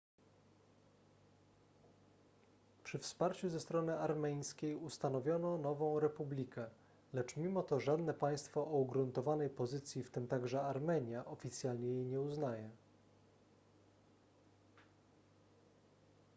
przy wsparciu ze strony armeńskiej ustanowiono nową republikę lecz mimo to żadne państwo o ugruntowanej pozycji w tym także armenia oficjalnie jej nie uznaje